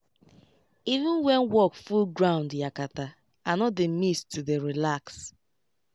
even when work full ground yakata i no dey miss to dey relax